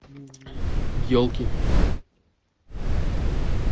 елки